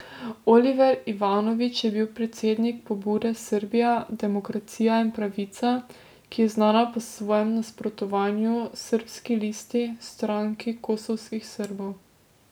Oliver Ivanović je bil predsednik pobude Srbija, demokracija in pravica, ki je znana po svojem nasprotovanju Srbski listi, stranki kosovskih Srbov.